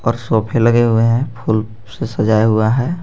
सोफे लगे हुए हैं फूल से सजाया हुआ है।